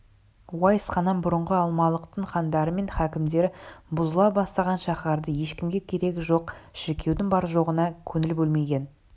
уайс ханнан бұрынғы алмалықтың хандары мен хакімдері бұзыла бастаған шаһардағы ешкімге керегі жоқ шіркеудің бар-жоғына көңіл бөлмеген